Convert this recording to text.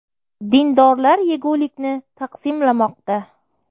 Dindorlar yegulikni taqsimlamoqda.